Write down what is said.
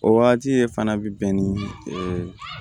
O wagati de fana bi bɛn ni